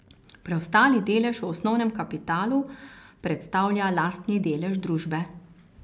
Preostali delež v osnovnem kapitalu predstavlja lastni delež družbe.